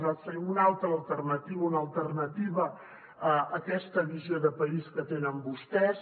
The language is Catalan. nosaltres tenim una alternativa una alternativa a aquesta visió de país que tenen vostès